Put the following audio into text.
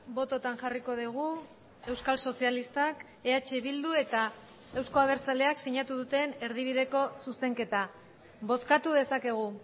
bototan jarriko dugu euskal sozialistak eh bildu eta euzko abertzaleak sinatu duten erdibideko zuzenketa bozkatu dezakegu